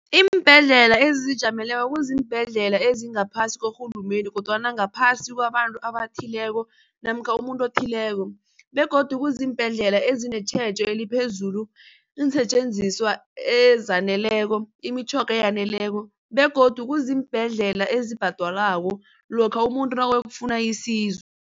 Iimbhedlela ezizijameleko kuziimbhedlela ezingaphasi korhulumende kodwana ngaphasi kwabantu abathileko namkha umuntu othileko begodu kuziimbhedlela ezinetjhejo eliphezulu iinsetjenziswa ezaneleko imitjhoga eyaneleko begodu kuziimbhedlela ezibhadalwako lokha umuntu nawuyokufuna isizo.